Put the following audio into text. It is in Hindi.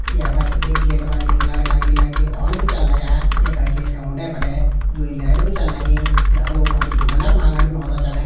यपर एक गेट पर एक लड़का अर एक लड़की ओण भी चन लग्यां येका गेट का उंडे-फंडे दुई लेट भी चन लगीं यख लोग अपढी मन्नत मागंण भी ओंदा चन।